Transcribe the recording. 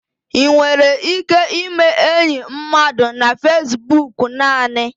Ị nwere ike ime enyi mmadụ na Fesbok naanị.